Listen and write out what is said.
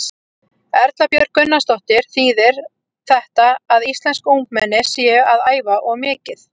Erla Björg Gunnarsdóttir: Þýðir þetta að íslensk ungmenni séu að æfa of mikið?